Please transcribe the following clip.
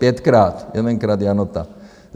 Pětkrát, jedenkrát Janota.